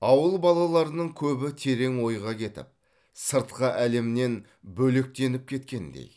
ауыл балаларының көбі терең ойға кетіп сыртқы әлемнен бөлектеніп кеткендей